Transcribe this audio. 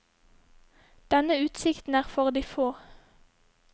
Denne utsikten er for de få.